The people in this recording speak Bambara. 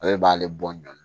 Ale b'ale bɔ ɲɔɔn